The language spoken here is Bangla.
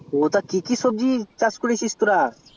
ওটা কি কি সবজির চাষ করেছিস তোরা